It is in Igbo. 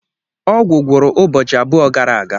Ọgwụ gwụru ụbọchị abụọ gara aga.